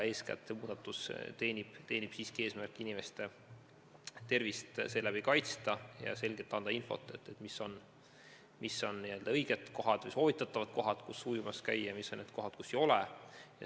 Eeskätt teenib see muudatus siiski eesmärki inimeste tervist kaitsta ja selgelt anda infot, mis on n-ö õiged kohad või soovitatavad kohad, kus ujumas käia, ja mis on kohad, mida ei soovitata.